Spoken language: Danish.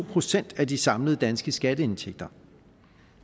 procent af de samlede danske skatteindtægter